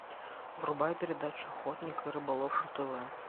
врубай передачу охотник и рыболов на тв